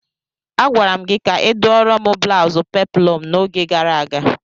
Agwara m gị ka ịdụọrọ m blaụzụ peplọm n'oge gara aga!